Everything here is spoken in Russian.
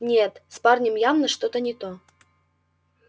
нет с парнем явно что-то не то